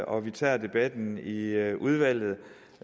og vi tager debatten i i udvalget